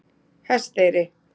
Hesteyri